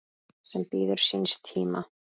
sem bíður síns tíma